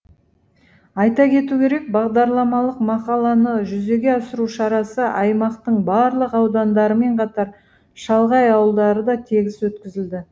айта кету керек бағдарламалық мақаланы жүзеге асыру шарасы аймақтың барлық аудандарымен қатар шалғай ауылдарда тегіс өткізілді